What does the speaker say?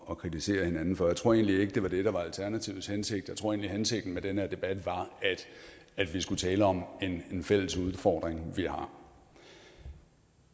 at kritisere hinanden for jeg tror egentlig ikke det var det der var alternativets hensigt jeg tror at hensigten med den her debat var at vi skulle tale om en fælles udfordring vi har